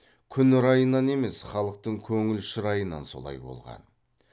күн райынан емес халықтың көңіл шырайынан солай болған